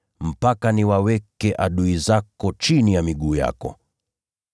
hadi nitakapowaweka adui zako chini ya miguu yako.” ’